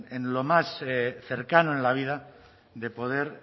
en lo más cercano en la vida de poder